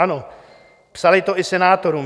Ano, psali to i senátorům.